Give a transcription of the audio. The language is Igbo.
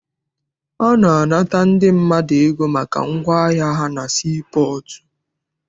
A na-anata ndị mmadụ ego maka ngwaahịa ha na sii pọọtụ.